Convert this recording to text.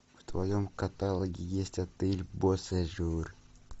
в твоем каталоге есть отель босежур